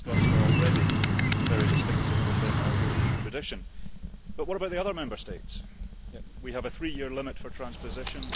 Scots law already is very distinctive within our European tradition. But what about the other Member States? We have a three year limit for transposition.